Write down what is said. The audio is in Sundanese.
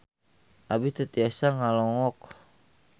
Abi teu tiasa ngalongok